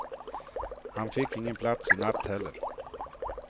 Han fick ingen plats i natt heller.